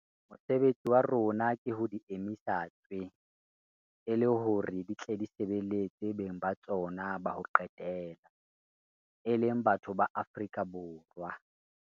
Mosebetsi wa rona ke ho di emisa tswee, e le hore di tle di sebeletse beng ba tsona ba ho qetela - e leng batho ba Afrika Borwa.